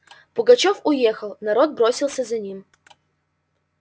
пугачёв уехал народ бросился за ним